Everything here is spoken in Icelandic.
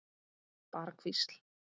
Bara hvísl.